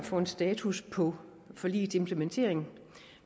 at få en status på forligets implementering